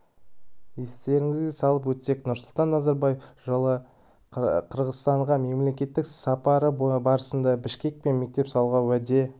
естеріңізге салып өтсек нұрсұлтан назарбаев жылы қырғызстанға мемлекеттік сапары барысында бішкек пен мектеп салуға уәде